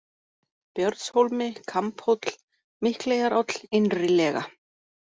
Björnshólmi, Kambhóll, Mikleyjaráll, Innrilega